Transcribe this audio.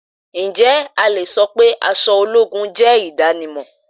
Ǹjẹ́ a le so pé aṣọ ológun jẹ́ ohun idanimọn?